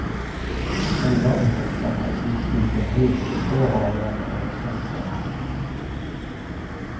Elva av hästarna gick utomhus i två hagar med elstängsel.